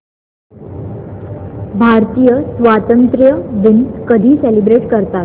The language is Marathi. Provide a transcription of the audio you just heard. भारतीय स्वातंत्र्य दिन कधी सेलिब्रेट करतात